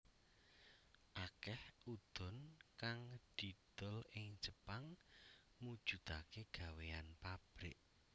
Akeh udon kang didol ing Jepang mujudake gawéyan pabrik